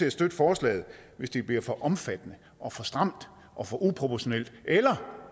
at støtte forslaget hvis det bliver for omfattende og for stramt og for uproportionalt eller